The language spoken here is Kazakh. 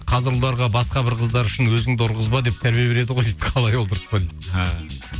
қазір ұлдарға басқа бір қыздар үшін өзіңді ұрғызба деп тәрбие береді ғой дейді қалай ол дұрыс па дейді ааа